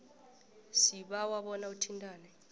sibawa bona uthintane